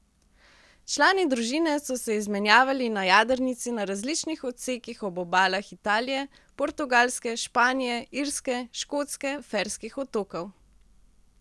Člani družine so se izmenjevali na jadrnici na različnih odsekih ob obalah Italije, Portugalske, Španije, Irske, Škotske, Ferskih otokov...